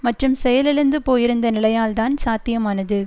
மற்றும் செயலிழந்து போயிருந்த நிலையால்தான் சாத்தியமானது